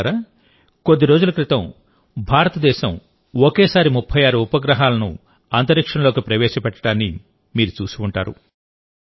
మిత్రులారాకొద్దిరోజుల క్రితం భారతదేశం ఒకేసారి 36 ఉపగ్రహాలను అంతరిక్షంలోకి ప్రవేశపెట్టడాన్ని మీరు చూసిఉంటారు